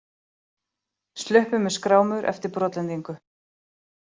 Sluppu með skrámur eftir brotlendingu